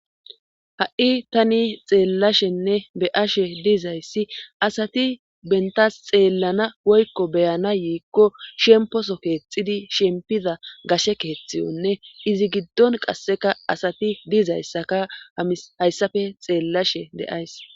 Ha'i tani xeellashenne be ashe diizayssi asati bentas xeellana woykko beyana yiikko shemposo keexidi shempiza gashe keeththiyonne izi giddon qasseka asati dizayssaka a hayssafe xeellashe deays.